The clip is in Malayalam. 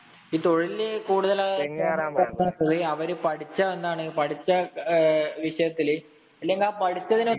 ഈ തൊഴിലിനെ കൂടുതലായിഅവര് പഠിച്ച എന്താണ്. പഠിച്ച വിഷയത്തില് അല്ലെങ്കില്‍ ആ പഠിച്ചതിനൊപ്പം